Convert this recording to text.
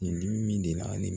Nin dimi min deli la